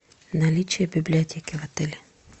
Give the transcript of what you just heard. наличие библиотеки в отеле